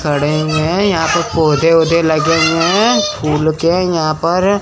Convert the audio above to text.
खड़े हुए हैं यहां पर पौधे वोदे लगे हुए हैं फुल के यहां पर--